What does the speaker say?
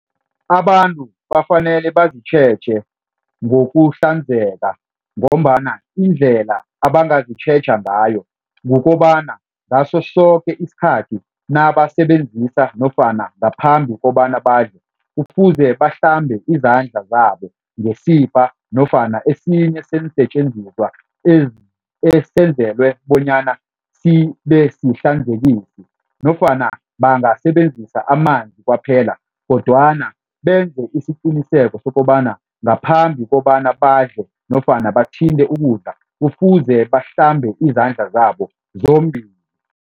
Abantu abafanele bazitjheje ngokuhlanzeka ngombana indlela abangazitjheja ngayo kukobana, ngaso soke isikhathi nabasebenzisa nofana ngaphambi kobana badle kufuze bahlambe izandla zabo ngesibha nofana esinye seensetjenziswa esenzelwe bonyana sibe sihlanzekisi nofana bangasebenzisa amanzi kwaphela kodwana benze isiqiniseko sokobana ngaphambi kobana badle nofana bathinte ukudla, kufuze bahlambe izandla zabo zombili.